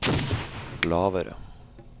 lavere